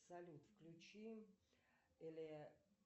салют включи